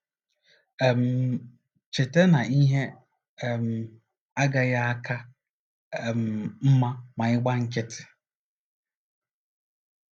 um Cheta na ihe um agaghị aka um mma ma ị gba nkịtị.